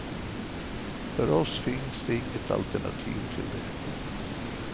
För oss finns det inget alternativ till det.